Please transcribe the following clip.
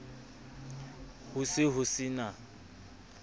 ho se ho se na